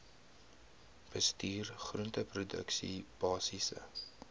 bestuur groenteproduksie basiese